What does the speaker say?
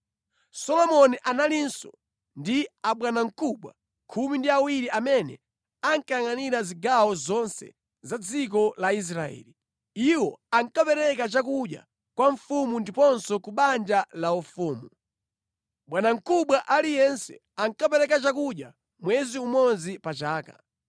Solomoni analinso ndi abwanamkubwa khumi ndi awiri amene ankayangʼanira zigawo zonse za dziko la Israeli. Iwo ankapereka chakudya kwa mfumu ndiponso ku banja laufumu. Bwanamkubwa aliyense ankapereka chakudya mwezi umodzi pa chaka.